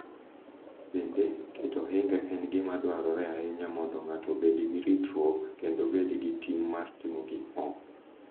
Bende, keto ohinga en gima dwarore ahinya mondo ng’ato obed gi ritruok kendo obed gi ting’ mar timo gik moko.